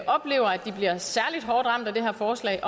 oplever at de bliver særlig hårdt ramt af det her forslag